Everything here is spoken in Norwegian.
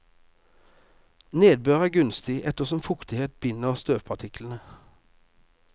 Nedbør er gunstig, ettersom fuktighet binder støvpartiklene.